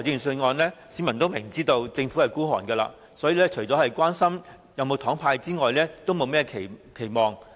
市民明知政府吝嗇，因此每年公布預算案時，除了關心會否"派糖"之外，也不敢有甚麼期望。